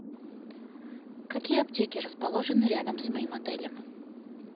какие аптеки расположены рядом с моим отелем